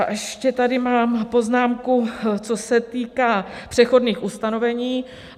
A ještě tady mám poznámku, co se týká přechodných ustanovení.